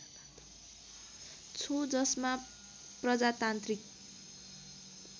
छु जसमा प्रजातान्त्रिक